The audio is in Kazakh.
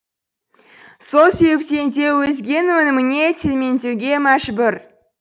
сол себептен де өзгенің өніміне телмеңдеуге мәжбүр